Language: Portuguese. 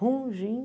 Rum, Gin?